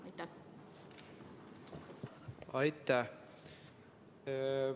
Aitäh!